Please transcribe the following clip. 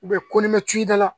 U bɛ ko ni mɛ tida la